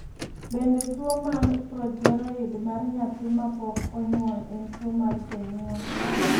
Bende tuwo mar projeroid mar nyathi ma pok onyuol en tuwo mar jonyuol?